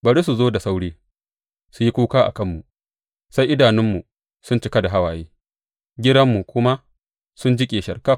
Bari su zo da sauri su yi kuka a kanmu sai idanunmu sun cika da hawaye giranmu kuma su jiƙe sharkaf.